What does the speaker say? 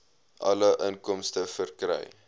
alle inkomste verkry